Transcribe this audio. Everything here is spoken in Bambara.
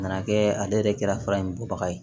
A nana kɛ ale yɛrɛ kɛra fura in bɔbaga ye